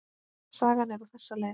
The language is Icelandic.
Sagan er á þessa leið: